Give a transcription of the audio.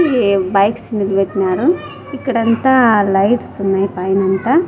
ఈ బైక్స్ నిలబెట్టినారు ఇక్కడంతా లైట్స్ ఉన్నాయి పైనంత.